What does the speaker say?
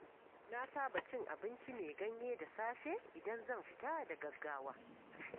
Na saba cin abincin mai ganye da safe idan zan fita da gaggawa.